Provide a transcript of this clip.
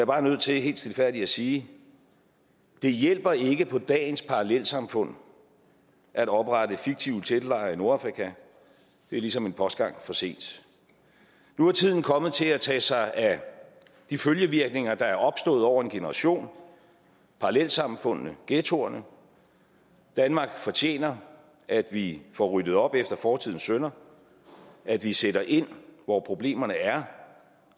bare nødt til helt stilfærdigt at sige det hjælper ikke på dagens parallelsamfund at oprette fiktive teltlejre i nordafrika det er ligesom en postgang for sent nu er tiden kommet til at tage sig af de følgevirkninger der er opstået over en generation parallelsamfundene ghettoerne danmark fortjener at vi får ryddet op efter fortidens synder at vi sætter ind hvor problemerne er